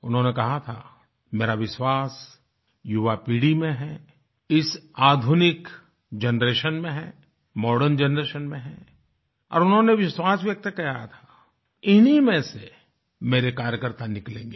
उन्होंने कहा था मेरा विश्वास युवा पीढ़ी में है इस आधुनिक जनरेशन में है मॉडर्न जनरेशन में है और उन्होंने विश्वास व्यक्त किया था इन्हीं में से मेरे कार्यकर्ता निकलेंगे